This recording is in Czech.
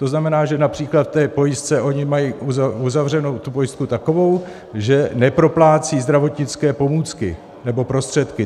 To znamená, že například v té pojistce oni mají uzavřenou tu pojistku takovou, že neproplácí zdravotnické pomůcky nebo prostředky.